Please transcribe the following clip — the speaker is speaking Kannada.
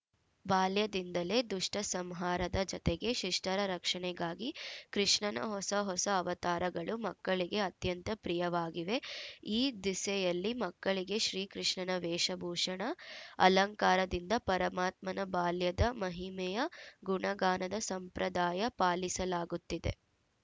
ಬಾಲ್ಯದಿಂದಲೇ ದುಷ್ಟಸಂಹಾರದ ಜತೆಗೆ ಶಿಷ್ಟರ ರಕ್ಷಣೆಗಾಗಿ ಕೃಷ್ಣನ ಹೊಸ ಹೊಸ ಅವತಾರಗಳು ಮಕ್ಕಳಿಗೆ ಅತ್ಯಂತ ಪ್ರಿಯವಾಗಿವೆ ಈ ದಿಸೆಯಲ್ಲಿ ಮಕ್ಕಳಿಗೆ ಶ್ರೀಕೃಷ್ಣನ ವೇಷಭೂಷಣ ಅಲಂಕಾರದಿಂದ ಪರಮಾತ್ಮನ ಬಾಲ್ಯದ ಮಹಿಮೆಯ ಗುಣಗಾನದ ಸಂಪ್ರದಾಯ ಪಾಲಿಸಲಾಗುತ್ತಿದೆ